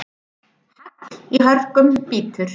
Hagl í hörkum bítur.